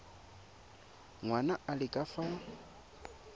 ngwana a le ka fa